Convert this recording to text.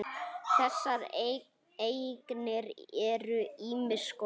Þessar eignir eru ýmiss konar.